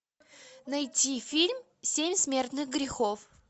найти фильм семь смертных грехов